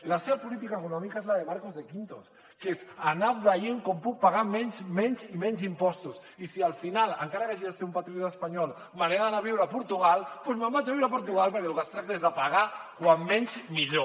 la seva política econòmica és la de marcos de quinto que és anar veient com puc pagar menys menys i menys impostos i si al final encara que hagi de ser un patriota espanyol me n’he d’anar a viure a portugal doncs me’n vaig a viure a portugal perquè del que es tracta és de pagar com menys millor